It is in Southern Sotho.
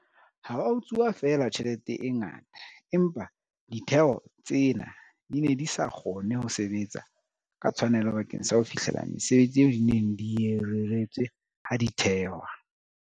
Ha ho a utsuwa feela tjhelete e ngata, empa ditheo tsena di ne di sa kgone ho sebetsa ka tshwanelo bakeng sa ho fihlella mesebetsi eo di neng di e reretswe ha di thehwa.